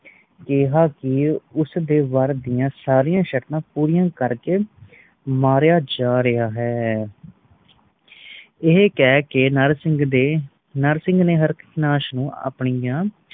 ਕਿਹਾ ਕਿ ਉਸਦੇ ਵਾਰ ਦੀਆ ਸਾਰੀਆਂ ਸ਼ਰਤਾਂ ਪੂਰੀਆਂ ਕਰਕੇ ਮਾਰਿਆ ਜਾ ਰਿਹਾ ਹੈ। ਏਹੇ ਕੈ ਕੇ ਨਰਸਿੰਘ ਦੇ ਨਰਸਿੰਘ ਨੇ ਹਾਰਕਨਾਸ਼ ਨੂੰ ਆਪਣੀਆਂ